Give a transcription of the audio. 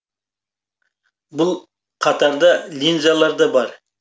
бұл қатарда линзалар да бар